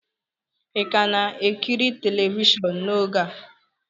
Ị ka na-ekiri telivishọn n'oge a?